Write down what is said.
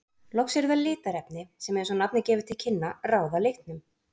Loks eru það litarefni, sem eins og nafnið gefur til kynna, ráða litnum.